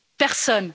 Personne.